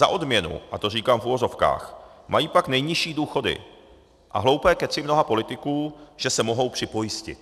Za odměnu, a to říkám v uvozovkách, mají pak nejnižší důchody a hloupé kecy mnoha politiků, že se mohou připojistit.